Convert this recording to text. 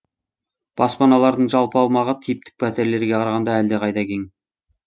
баспаналардың жалпы аумағы типтік пәтерлерге қарағанда әлдеқайда кең